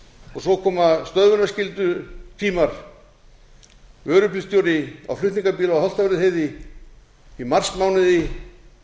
og svo koma stöðvunarskyldutímar vörubílstjóri á flutningabíl á holtavörðuheiði í marsmánuði það